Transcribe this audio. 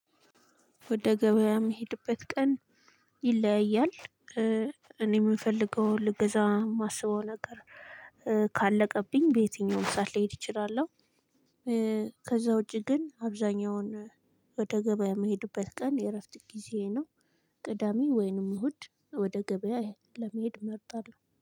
ወደ ገበያ የምሄድበት ቀን ይለያያል። እኔ የምፈልገው ልግዛ የማስበው ነገር ካለቀብኝ በየትኛውም ሰዓት ልሄድ እችላለሁ። ከዛ ውጪ ግን አብዛኛውን ወደ ገበያ የምሄድበት ቀን የእረፍት ጊዜዬ ነው። ቅዳሜ ወይንም እሁድ ወደ ገበያ ለመሄድ እመርጣለሁ።